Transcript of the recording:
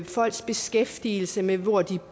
folks beskæftigelse med hvor de